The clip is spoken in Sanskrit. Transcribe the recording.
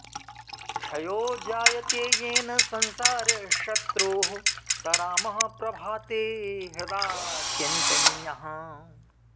क्षयो जायते येन संसारशत्रोः स रामः प्रभाते हृदा चिन्तनीयः